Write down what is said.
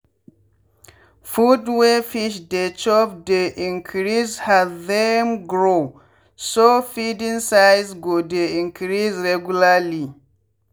food wey fish dey chop dey increase has them growso feeding size go dey increase regularly